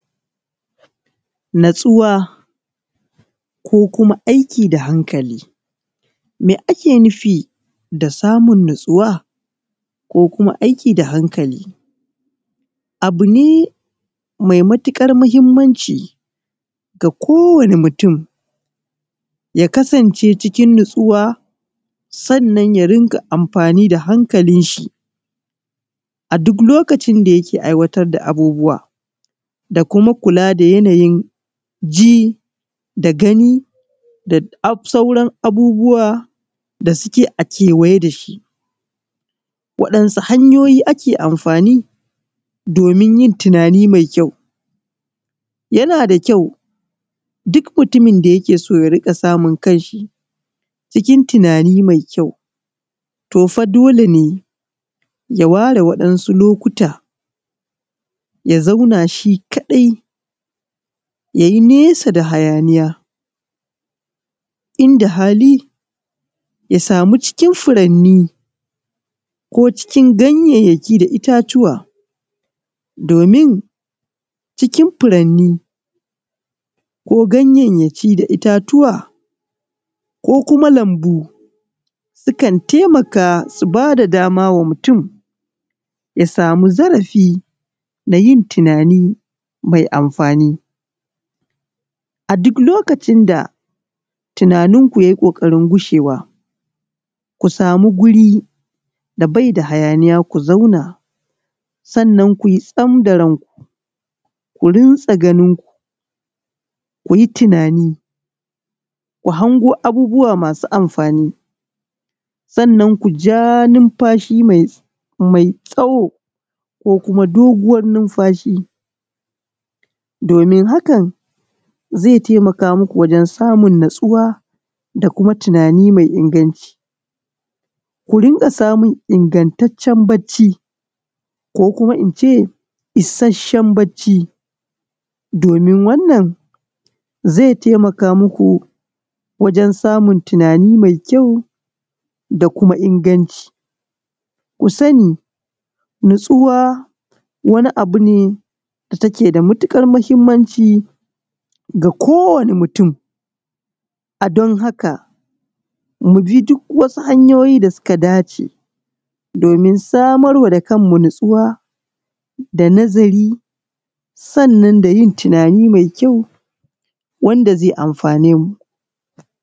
Natsuwa ko kuma aiki da hankali, me ake nufi da samun natsuwa ko kuma aiki da hankali? Abu ne mai matukar muhimmanci ga kowane mutum ya kasance cikin natsuwa sannan ya dinga amfani da hankalin shi a duk lokacin da yake aikata abubuwa da kuma kula da yanayin ji da gani da sauran abubuwa da suke a kewaye da shi, waɗansu hanyoyi ake amfani domin yin tunani mai kyau yana da kyau duk mutumin da yake so ya rika samun kanshi cikin tunani mai kyau to fa dole ne ya ware waɗansu lokuta ya zauna shi kadai yayi nesa da hayaniya inda hali ya samu cikin furanni ko cikin ganyanyaki da itatuwa domin cikin furanni ko ganyanyaki da itatuwa ko kuma lambu sukan taimaka su bada dama wa mutum ya samu zarafi na yin tunani mai amfani a duk lokacin da tunaninku yayi kokarin gushewa ku samu guri da bai da hayaniya ku zauna sannan kuyi sam da ranku ku rinse ganinku kuyi tunani ku dango abubuwa masu amfani sannan kuja nunfashi mai tsawo ko kuma doguwar nunfashi, domin hakan zai taimaka maku wajen samun natsuwa da kuma tunani mai inganci ku ringa samun ingantaccen bacci ko kuma ince isashen bacci domin wannan zai taimaka maku wajen samun tunani mai kyau da kuma inganci, ku sani natsuwa wani abu ne da take da matukar muhimmanci ga kowane mutum a don haka mu bi duk wasu hanyoyi da suka dace domin samar da kanmu natsuwa da nazari sannan da yin tunani mai kyau wanda zai amfane mu,